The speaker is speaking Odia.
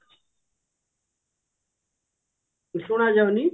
ଶୁଣା ଯାଉନି